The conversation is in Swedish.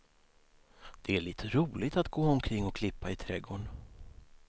Det är lite roligt att gå omkring och klippa i trädgården.